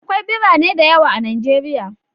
Akwai birane da yawa a Najeriya.